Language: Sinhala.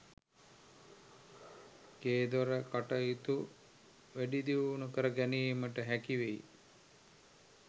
ගේදොර කටයුතු වැඩිදියුණු කර ගැනීමට හැකිවේ.